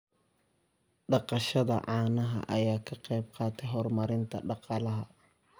Dhaqashada caanaha ayaa ka qayb qaadata horumarinta dhaqaalaha.